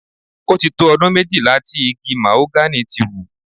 Ó ti tó ọdún méjìlá tí igi màhógánì ti wù.